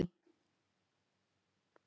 Sagan greinir frá konungi í